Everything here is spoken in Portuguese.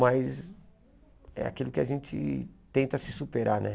Mas é aquilo que a gente tenta se superar, né?